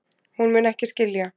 Hún mun ekki skilja.